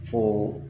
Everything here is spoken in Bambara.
Fo